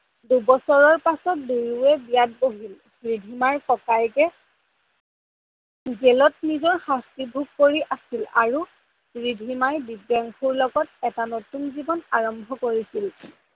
দুবছৰৰ পাছত দুয়োয়ে বিয়াত বহিল, ৰিধিমাৰ ককায়েকে জেলত নিজৰ শাস্তি ভোগ কৰি আছিল আৰু ৰিধিমাই দিব্যাংসুৰ লগত এটা নতুন জীৱন আৰম্ভ কৰিছিল।